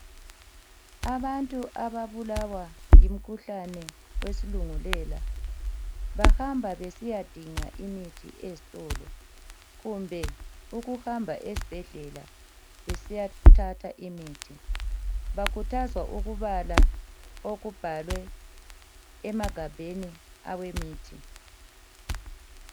Abantu ababulawa yimikhuhlane wesilungulela bahamba besiyadinga imithi eztolo kumbe ukuhamba ezibhedlela besiyathatha imithi. Bakhuthazwa ukubala okubhalwe emagabheni awemithi.